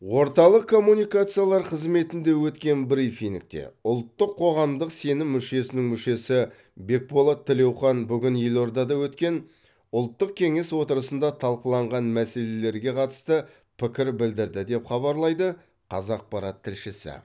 орталық коммуникациялар қызметінде өткен брифингте ұлттық қоғамдық сенім мүшесінің мүшесі бекболат тілеухан бүгін елордада өткен ұлттық кеңес отырысында талқыланған мәселелерге қатысты пікір білдірді деп хабарлайды қазақпарат тілшісі